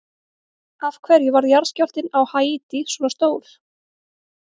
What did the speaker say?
Af hverju varð jarðskjálftinn á Haítí svona stór?